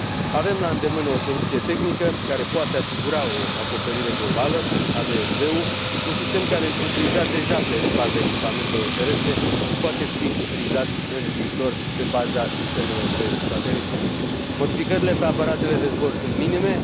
Avem la îndemână o soluție tehnică care poate asigura o acoperire globală, ADS B ul, un sistem care este utilizat deja pe baza echipamentelor terestre și poate fi utilizat în viitor pe baza sistemelor de sateliți. Modificările pe aparatele de zbor sunt minime.